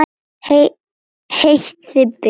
Heitt þig bið!